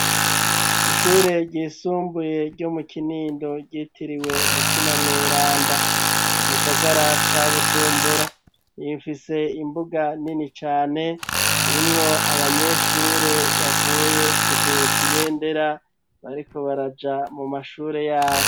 Ishure ryisumbuye, ryo mu Kinindo, ryitiriwe mutima mweranda, mu gisagara ca Bujumbura; ifise imbuga nini cane, irimwo abanyeshure, bavuye kuduza ibendera, bariko baraja, mu mashure yabo.